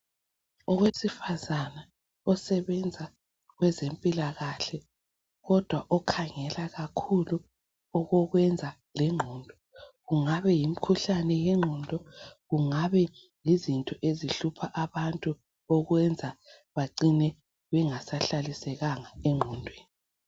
Owesifazane osebenza kwezempilakahle kodwa okhangela kakhulu okokwenza lengqondo. Kungabe yimikhuhlane yengqondo kungabe yizinto ezihlupha abantu okwenza bacine bengasahlalisekanga engqondweni.